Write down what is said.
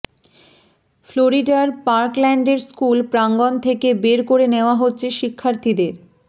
ফ্লোরিডার পার্কল্যান্ডের স্কুল প্রাঙ্গন থেকে বের করে নেয়া হচ্ছে শিক্ষার্থীদের